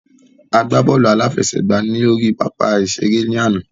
A gbá bọ́ọ̀lù aláfẹsẹ̀gbàá lórí pápá ìṣeré lánàá.